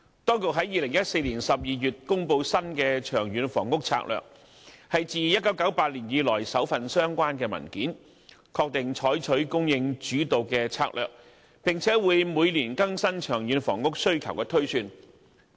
當局於2014年12月公布新的《長遠房屋策略》，是自1998年以來首份相關文件，確定採取供應主導策略，並會每年更新長遠房屋需求推算。